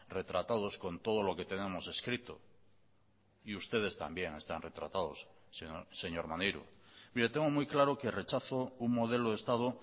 retratados con todo lo que tenemos escrito y ustedes también están retratados señor maneiro mire tengo muy claro que rechazo un modelo de estado